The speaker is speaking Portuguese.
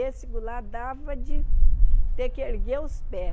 Esse dava de ter que erguer os pés.